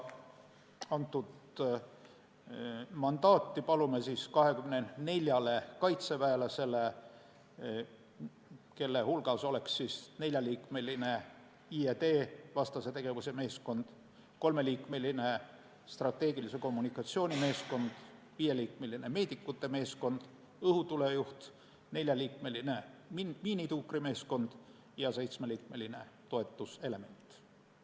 Palume mandaati 24 kaitseväelasele, kelle hulgas oleks neljaliikmeline IED-vastase tegevuse meeskond, kolmeliikmeline strateegilise kommunikatsiooni meeskond, viieliikmeline meedikute meeskond, õhutule juht, neljaliikmeline miinituukrimeeskond ja seitsmeliikmeline toetuselement.